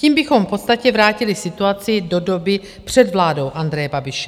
Tím bychom v podstatě vrátili situaci do doby před vládou Andreje Babiše.